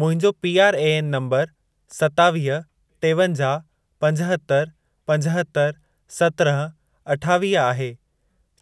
मुंहिंजो PRAN number सतावीह, टेवंजाह, पंजहतरि, पंजहतरि, सत्रहं, अठावीह आहे।